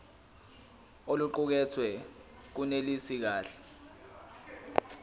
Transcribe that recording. oluqukethwe lunelisi kahle